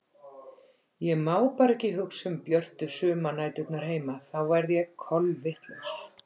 Ég má bara ekki hugsa um björtu sumarnæturnar heima þá verð ég kolvitlaus.